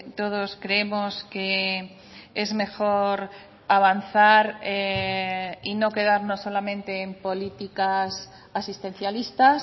todos creemos que es mejor avanzar y no quedarnos solamente en políticas asistencialistas